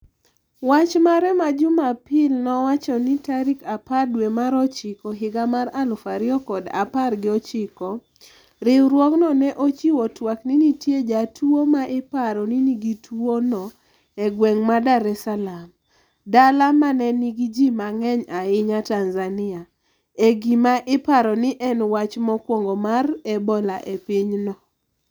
wach mare ma jumapil nowacho ni tarik aper dwe mar ochiko higa mar aluf ariyo kod apar gi ochiko. riwruogno ne ochiwo twak ni nitie jatuwo ma iparo ni nigi tuwo no e gweng' ma Dar es Saalam. dala manenigi ji mang'eny ahinya Tanzania. e gima iparo ni en wach mokwongo mar Ebola e pinyno